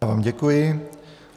Já vám děkuji.